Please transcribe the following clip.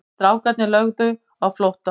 Strákarnir lögðu aftur á flótta.